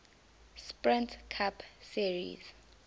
sprint cup series